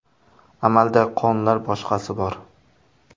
Amaldagi qonunlar, boshqasi bor.